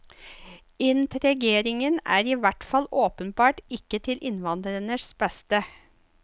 Integreringen er i hvert fall åpenbart ikke til innvandrernes beste.